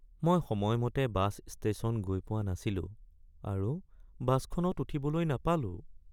মই সময়মতে bus station গৈ পোৱা নাছিলো আৰু বাছখনত উঠিবলৈ নাপালোঁ।